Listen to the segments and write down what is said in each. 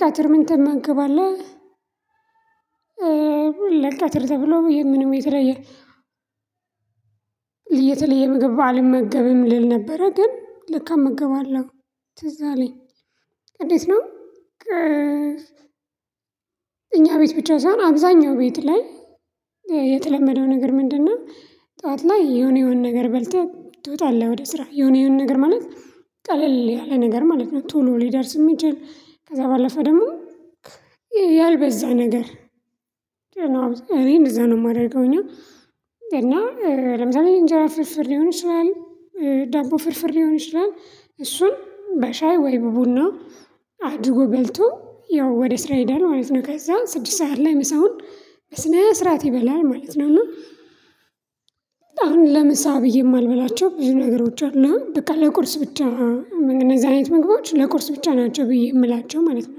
ቀትር ምን ትመገባለህ ለቀትር ተብሎ ብዬ ምንም የተለየ የተለየ ምግብ አልመገብም ልል ነበረ ግን ለካ እመገባለሁ ትዝ አለኝ። እንዴት ነው? እኛ ቤት ብቻ ሳይሆን አብዛኛው ቤት ላይ የተለመደው ነገር ምንድነው? ጠዋት ላይ የሆነ የሆነ ነገር በልተህ ትወጣለህ ወደ ስራ የሆነ የሆነ ነገር ማለት ቀለል ያለ ነገር ማለት ነው። ቶሎ ሊደርስ የሚችል ከዛ ባለፈ ደግሞ ያልበዛ ነገር። ጭንቅላት እኔ እንደዛ ነው የማደርገው። እና እና ለምሳሌ እንጀራ ፍርፍር ሊሆን ይችላል ዳቦ ፍርፍር ሊሆን ይችላል እሱን በሻይ ወይ በቡና አድጎ ጎልቶ ያው ወደ ስራ ይሄዳል ማለት ነው። ከዛ ስድስት ሰዓት ላይ ምሳውን በስነ ስርዓት ይበላል ማለት ነው። እና አሁን ለምሳ ብዬ የማልበላቸው ብዙ ነገሮች አሉ በቃ ለቁርስ ብቻ እነዚህ አይነት ምግቦች ለቁርስ ብቻ ናቸው ብዬ የምላቸው ማለት ነው።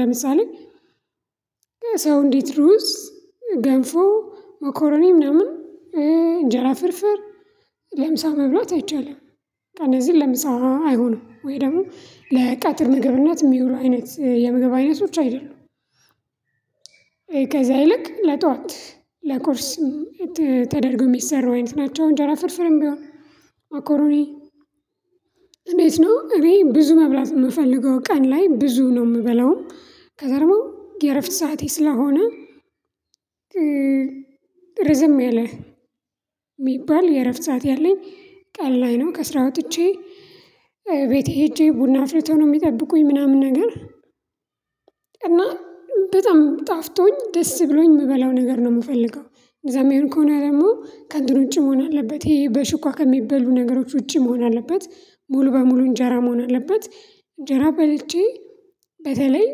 ለምሳሌ ሰው እንዴት ሩዝ ገንፎ መኮረኔ ምናምን እንጀራ ፍርፍር ለምሳ መብላት አይቻልም። እነዚህን ለምሳ አይሆንም ወይ ደግሞ ለቀትር ምግብነት የሚውሉ አይነት የምግብ አይነቶች አይደሉም። ከዛ ይልቅ ለጧት ለቁርስ ተደርገው የሚሰሩ አይነት ናቸው። እንጀራ ፍርፍርም ቢሆን መኮሮኒ እንዴት ነው እኔ ብዙ መብላት የምፈልገው ቀን ላይ ብዙ ነው። የምበላውም ከዛ ደግሞ የእረፍት ሰዓቴ ስለሆነ። ረዝም ያለ የሚባል የእረፍት ሰዓት ያለኝ ቀን ላይ ነው ከስራ ወጥቼ ቤት ሄጄ ቡና አፍልቶ ነው የሚጠብቁኝ ምናምን ነገር። እና በጣም ጣፍጦኝ ደስ ብሎኝ የምበላው ነገር ነው የምፈልገው እንደዚያ የሚሆን ከሆነ ደግሞ ከእንትን ውጪ መሆን አለበት ይሄ በሽኳ ከሚበሉ ነገሮች ውጪ መሆን አለበት ሙሉ በሙሉ እንጀራ መሆን አለበት። እንጀራ በልቼ በተለይ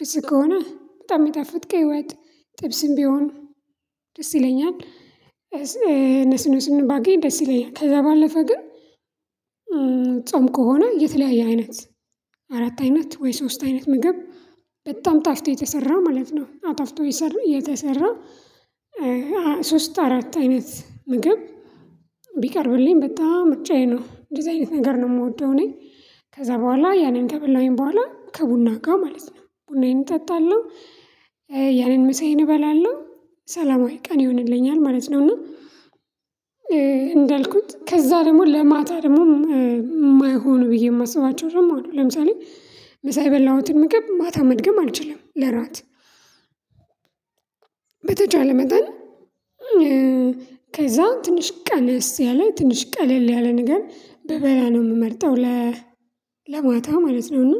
ፍስክ ከሆነ በጣም የሚጣፍጥ ቀይ ወጥ ጥብስም ቢሆን ደስ ይለኛል። እነሱን እነሱን ባገኝ ደስ ይለኛል ከዛ ባለፈ ግን። ጾም ከሆነ የተለያየ አይነት አራት አይነት ወይ ሶስት አይነት ምግብ በጣም ጣፍጦ የተሰራ ማለት ነው። አጣፍጦ የተሰራ ሶስት አራት አይነት ምግብ ቢቀርብልኝ በጣም ምርጫዬ ነው። እንደዚህ አይነት ነገር ነው የምወደው እኔ ከዛ በኋላ ያንን ከበላሁኝ በኋላ ከቡና ጋር ማለት ነው ቡናዬን እጠጣለሁ። ያንን ምሳዬን እበላለሁ ሰላማዊ ቀን ይሆንልኛል ማለት ነው። እና እንዳልኩት ከዛ ደግሞ ለማታ ደግሞ የማይሆነው ብዬ የማስባቸው ደግሞ አሉ ለምሳሌ ምሳ የበላሁትን ምግብ ማታ መድገም አልችልም ለራት። በተቻለ መጠን ከዛ ትንሽ ቀነስ ያለ ትንሽ ቀለል ያለ ነገር ብበላ ነው የምመርጠው ለ ለማታ ማለት ነው። እና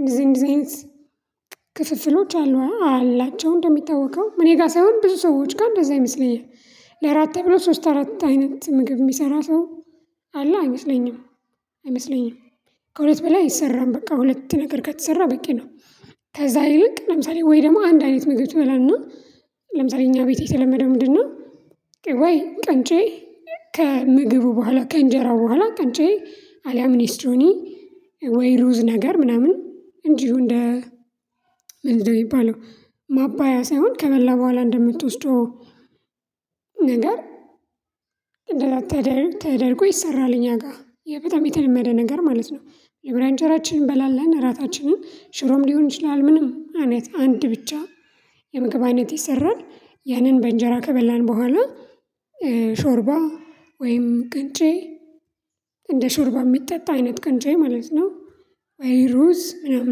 እንደዚህ አይነት ክፍፍሎች አሉ አላቸው። እንደሚታወቀው እኔ ጋር ሳይሆን ብዙ ሰዎች ጋር እንደዛ ይመስለኛል ለአራት ተብሎ ሶስት አራት አይነት ምግብ የሚሰራ ሰው አለ አይመስለኝም። አይመስለኝም ከሁለት በላይ አይሰራም በቃ ሁለት ነገር ከተሰራ በቂ ነው። ከዛ ይልቅ ለምሳሌ ወይ ደግሞ አንድ አይነት ምግብ ትበላና ለምሳሌ እኛ ቤት የተለመደው ምንድነው? ወይ ቂንጬ ከምግቡ በኋላ ከእንጀራው በኋላ ቂንጬ አሊያም ኔስትሮኒ ወይ ሩዝ ነገር ምናምን እንዲሁ እንደ ምንድነው የሚባለው? ማባያ ሳይሆን ከበላ በኋላ እንደምትወስደው ነገር እንደ ራት ተደርጎ ይሰራል እኛ ጋር በጣም የተለመደ ነገር ማለት ነው። መጀመሪያ እንጀራችንን እንበላለን እራታችንን ሽሮም ሊሆን ይችላል ምንም አይነት አንድ ብቻ የምግብ አይነት ይሰራል። ያንን በእንጀራ ከበላን በኋላ ሾርባ ወይም ቅንጬ እንደ ሾርባ የሚጠጣ አይነት ቅንጬ ማለት ነው። ወይ ሩዝ ምናምን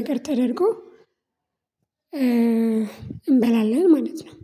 ነገር ተደርጎ እንበላለን ማለት ነው።